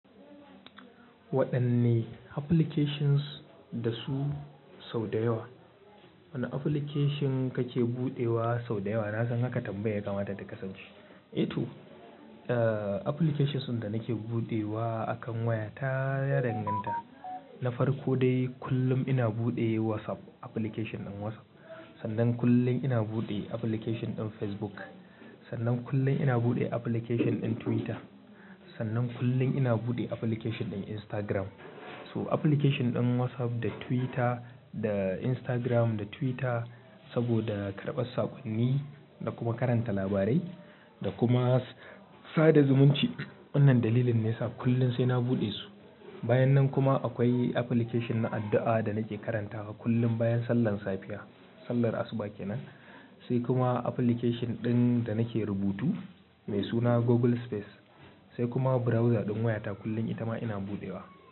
Waɗanne applications da su sau da yawa, wane application kake buɗewa sau da yawa? Na san ha ka tambaya yakamata ta kasance. Eh to, applications da nake buɗewa akan waya ta ya danganta. Na farko dai kullum ina buɗe WhatsApp application ɗin WhatsApp. Sannan kullum ina buɗe application ɗin Facebook. Sannan kullum ina buɗe application ɗin Twitter. Sannan kullum ina buɗe application ɗin Instagram. So application ɗin WhatsApp da Twitter da Instagram da Twitter saboda karɓar sakonni da kuma karanta labarai da kuma sada zumunci. Wannan dalilin ne yasa kullum sai na buɗe su. Bayan nan kuma akwai application na addu'a da nake karantawa kullum bayan sallar safiya, sallar asuba kenan. Sai kuma application ɗin da nake rubutu mai suna Google Space. Sai kuma browser ɗin wayata kullum itama ina buɗewa.